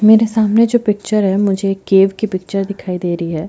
मेरे सामने जो पिक्चर है मुझे केव की पिक्चर दिखाई दे रही हैं।